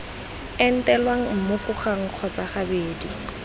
entelwa mmoko gangwe kgotsa gabedi